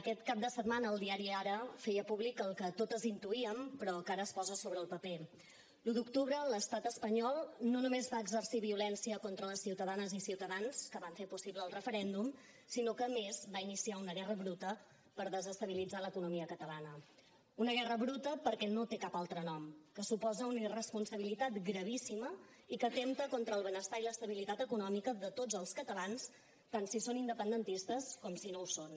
aquest cap de setmana el diari ara feia públic el que totes intuíem però que ara es posa sobre el paper l’un d’octubre l’estat espanyol no només va exercir violència contra les ciutadanes i ciutadans que van fer possible el referèndum sinó que a més va iniciar una guerra bruta per desestabilitzar l’economia catalana una guerra bruta perquè no té cap altre nom que suposa una irresponsabilitat gravíssima i que atempta contra el benestar i l’estabilitat econòmica de tots els catalans tant si són independentistes com si no ho són